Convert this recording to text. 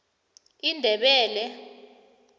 indebele